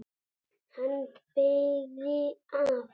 Hann beygði af.